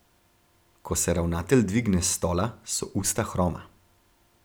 Ko se ravnatelj dvigne s stola, so usta hroma.